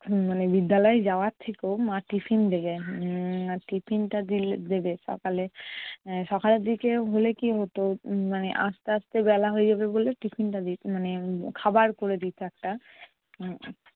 মানে বিদ্যালয়ে যাওয়ার থেকেও মা tiffin দেবে উম tiffin টা দিলে দেবে সকালে। সকালের দিকে হলে কি হতো উম মানে আসতে আসতে বেলা হয়ে যাবে বলে tiffin টা দিতো মানে, উম খাবার করে দিতো একটা